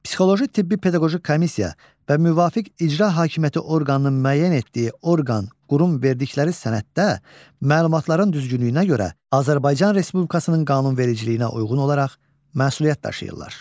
Psixoloji-tibbi-pedaqoji komissiya və müvafiq icra hakimiyyəti orqanının müəyyən etdiyi orqan, qurum verdikləri sənəddə məlumatların düzgünlüyünə görə Azərbaycan Respublikasının qanunvericiliyinə uyğun olaraq məsuliyyət daşıyırlar.